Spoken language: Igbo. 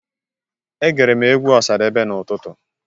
Egere m egwu Ọsadebe n'utụtụ.